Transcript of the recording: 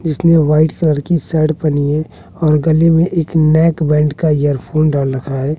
जिसने white colour की shirt पहनी है और गले में एक नेक बैंड का एयरफोन डाल रखा है।